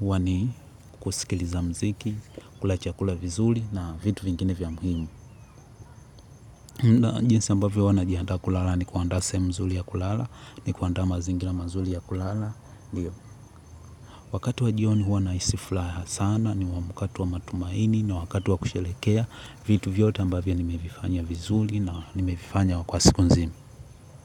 huwa ni kusikiliza muziki, kula chakula vizuri na vitu vingine vya muhimu. Jinsi ambayo huwa najiaanda kulala ni kuandaa sehemu nzuri ya kulala, ni kuandaa mazingira mazuri ya kulala. Wakati wa jioni huwa nahisi furaha sana, ni wakati wa matumaini na wakati wa kusherehekea vitu vyote ambavyo nimevifanya vizuri na nimevifanya kwa siku nzima.